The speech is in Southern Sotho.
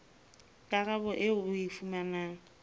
karabo eo o e fumanang